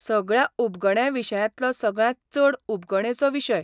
सगळ्या उबगण्या विशयांतलो सगळ्यांत चड उबगणेचो विशय.